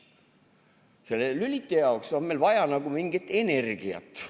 Selle lüliti jaoks on meil vaja nagu mingit energiat.